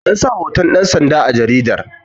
an sa hoton dansanda a jaridatar